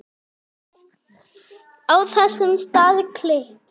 Á þessum stað klykkir